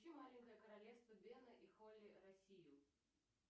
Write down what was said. включи маленькое королевство бена и холли россию